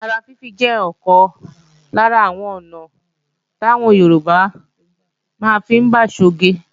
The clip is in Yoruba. Ara fínfín jẹ́ ọ̀kan lára àwọn ọ̀nà tí àwọn Yorùbá máa ń gbà sọge